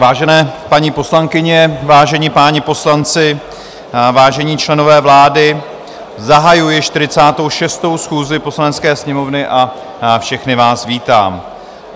Vážené paní poslankyně, vážení páni poslanci, vážení členové vlády, zahajuji 46. schůzi Poslanecké sněmovny a všechny vás vítám.